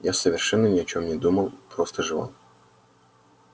я совершенно ни о чём не думал просто жевал